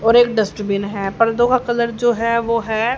और एक डस्टबिन है पर्दो का कलर जो है वो है।